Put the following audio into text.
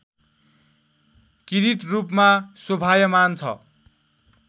किरीटरूपमा शोभायमान छ